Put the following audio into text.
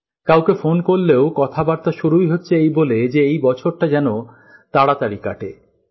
কাউকে ফোন করলেও কথাবার্তা শুরুই হচ্ছে এই বলে এই বছরটা যেন তাড়াতাড়ি কাটে